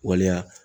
Waleya